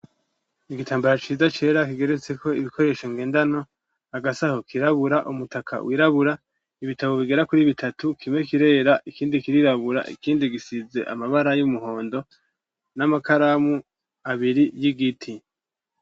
Igitambaro ciza cera kigeretse ko ibikoresho ngendanwa agasaho kirabura umutaka wirabura ibitabo bigera kuri bitatu kime kirera ikindi kirirabura ikindi gisize amabara y'umuhondo n'amakaramu abiri y'igiti.